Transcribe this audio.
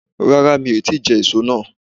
Rárá mi o ti je èso náà